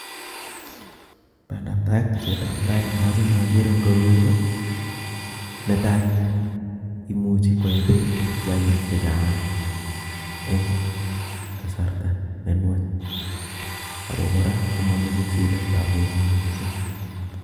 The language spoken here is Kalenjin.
Bandab tai, tesetab tai nemochome oker en koroi ko netai imuch koyee beek kiakik chechang eng' kasarta nenwach ako kora komomoche siletab Beek mising.